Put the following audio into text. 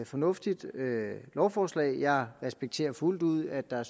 fornuftigt lovforslag jeg respekterer fuldt ud at der er